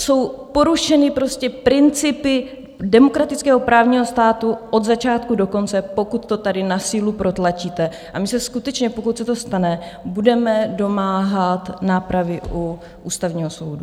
Jsou porušeny prostě principy demokratického právního státu od začátku do konce, pokud to tady na sílu protlačíte, a my se skutečně, pokud se to stane, budeme domáhat nápravy u Ústavního soudu.